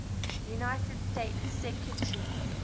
united states secretaries